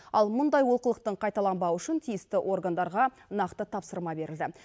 ал мұндай олқылықтың қайталанбауы үшін тиісті органдарға нақты тапсырма берілді